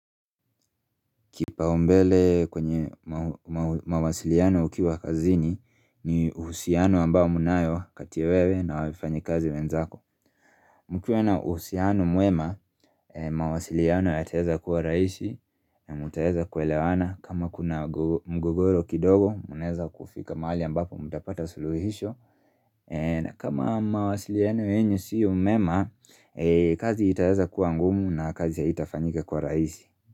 Kipaumbele kwenye mawasiliano ukiwa kazini ni uhusiano ambao mnayo kati ya wewe na wafanyikazi wenzako mkiwa na uhusiano mwema, mawasiliano yataeza kuwa rahisi na mtaeza kuelewana kama kuna mgogoro kidogo, mnaeza kufika mahali ambapo mtapata suluhisho na kama mawasiliano yenu sio mema, kazi itaeza kuwa ngumu na kazi haitafanyika kwa rahisi.